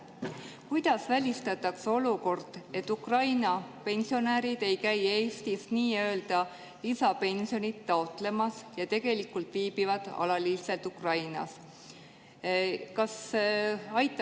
Kuidas välistatakse olukord, et Ukraina pensionärid ei käi Eesti nii-öelda lisapensioni taotlemas, aga viibivad tegelikult alaliselt Ukrainas?